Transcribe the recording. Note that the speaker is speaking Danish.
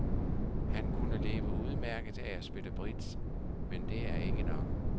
Han kunne leve udmærket af at spille bridge, men det er ikke nok.